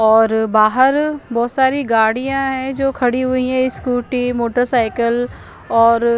और बहार बोहोत साड़ी गाडिया है जो खड़ी हुई है स्कूटी मोटर साइकिल और --